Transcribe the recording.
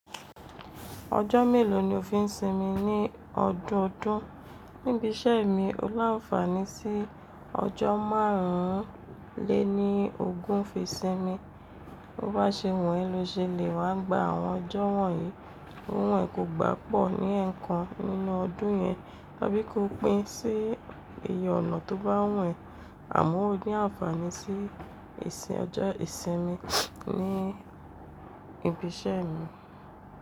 Ọjọ́ mélò ni o fi ń sinmi ní ọdọọdún? Níbiṣẹ́ mi, o láfààní sí ọjọ́ márùn lé ní ogún fi sinmi. Tó bá ṣe wùn ẹ́ lo ṣe lè wá gba àwọn ọjọ́ wọ̀nyí. Bó wùn ẹ́ kó gbà pọ̀ ní ẹ̀ẹ̀kan nínú ọdún yẹn, tàbí kó pín sí iye ọ̀nà tó bá wùn ẹ́, àmọ́ o ní ànfàní sí ẹsìn ọjọ́ ìsinmi ní ibi iṣẹ́ mi.